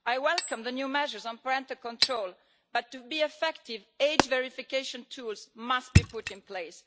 I welcome the new measures on parental control but, to be effective, age verification tools must be put in place.